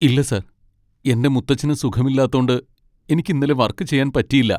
ഇല്ല സാർ, എന്റെ മുത്തച്ഛന് സുഖമില്ലാത്തോണ്ട് എനിക്ക് ഇന്നലെ വർക്ക് ചെയ്യാൻ പറ്റിയില്ല .